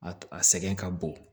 A a sɛgɛn ka bon